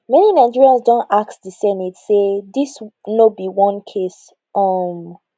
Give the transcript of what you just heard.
many nigerians don ask di senate say dis no be one case um